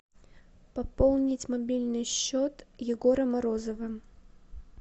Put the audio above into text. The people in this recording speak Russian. пополнить мобильный счет егора морозова